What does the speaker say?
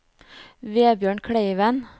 Vebjørn Kleiven